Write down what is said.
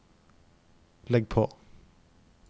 legg på